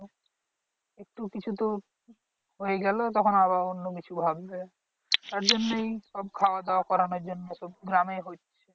একটু কিছু তো হয়ে গেলে তখন আরো অন্য কিছু ভাববে তার জন্যই সব খাওয়া দাওয়া করানোর জন্যই সব গ্রামেই হচ্ছে